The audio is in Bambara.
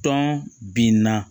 Tɔn binna